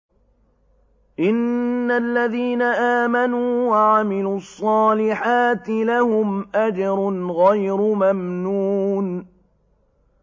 إِنَّ الَّذِينَ آمَنُوا وَعَمِلُوا الصَّالِحَاتِ لَهُمْ أَجْرٌ غَيْرُ مَمْنُونٍ